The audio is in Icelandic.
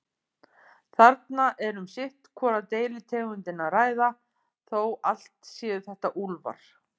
Þarna er um sitt hvora deilitegundina að ræða, þó allt séu þetta úlfar.